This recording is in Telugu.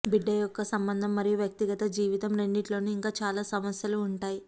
బిడ్డ యొక్క సంబంధం మరియు వ్యక్తిగత జీవితం రెండింటిలో ఇంకా చాలా సమస్యలు ఉంటాయి